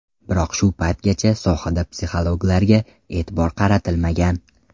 Biroq shu paytgacha sohada psixologlarga e’tibor qaratilmagan.